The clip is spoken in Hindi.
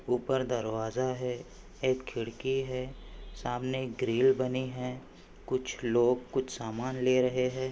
ऊपर दरवाजा है एक खिडकी है। सामने एक ग्रिल बनी है कुछ लोग सामान ले रहे हैं।